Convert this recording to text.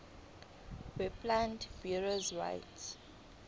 weplant breeders rights